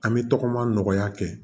An bɛ tɔgɔma nɔgɔya kɛ